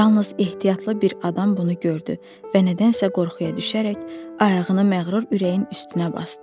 Yalnız ehtiyatlı bir adam bunu gördü və nədənsə qorxuya düşərək ayağını məğrur ürəyin üstünə basdı.